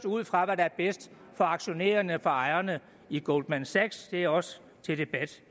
ud fra det der er bedst for aktionærerne og for ejerne i goldman sachs det er også til debat